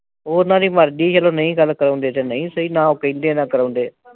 ਉਹ ਉਨ੍ਹਾਂ ਦੀ ਮਰਜੀ ਆ ਜਦੋਂ ਨਹੀਂ ਗੱਲ ਕਰਾਉਂਦੇ ਤੇ ਨਹੀਂ ਸੀ ਨਾ ਉਹ ਕਹਿੰਦੇ ਨਾ ਕਰਾਉਦੇ